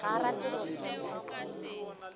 gore ga a rate go